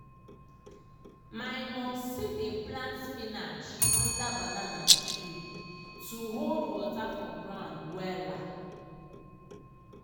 my momsi dey plant spinach under banana tree to hold water for ground wella.